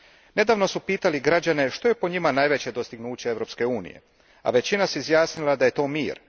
Nedavno su pitali građane što je po njima najveće dostignuće Europske unije, a većina se izjasnila da je to mir.